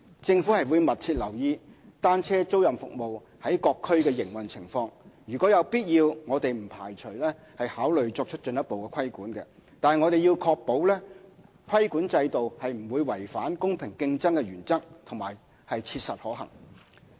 政府會密切留意單車租賃服務在各區的營運情況，如有必要，我們不排除考慮作出進一步規管，但要確保規管制度不會違反公平競爭的原則及切實可行。